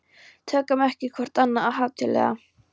Tökum ekki hvort annað of hátíðlega.